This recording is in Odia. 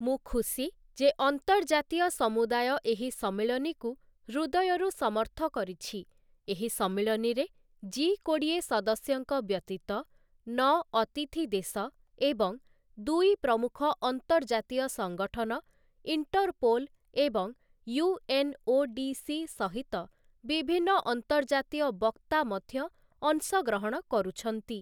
ମୁଁ ଖୁସି ଯେ ଅନ୍ତର୍ଜାତୀୟ ସମୁଦାୟ ଏହି ସମ୍ମିଳନୀକୁ ହୃଦୟରୁ ସମର୍ଥ କରିଛି, ଏହି ସମ୍ମିଳନୀରେ ଜି କୋଡ଼ିଏ ସଦସ୍ୟଙ୍କ ବ୍ୟତୀତ, ନଅ ଅତିଥି ଦେଶ ଏବଂ ଦୁଇ ପ୍ରମୁଖ ଅନ୍ତର୍ଜାତୀୟ ସଂଗଠନ, ଇଣ୍ଟରପୋଲ୍ ଏବଂ ୟୁଏନ୍ଓଡିସି ସହିତ ବିଭିନ୍ନ ଅନ୍ତର୍ଜାତୀୟ ବକ୍ତା ମଧ୍ୟ ଅଂଶଗ୍ରହଣ କରୁଛନ୍ତି ।